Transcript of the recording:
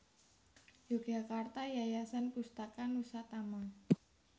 Yogyakarta Yayasan Pustaka Nusatama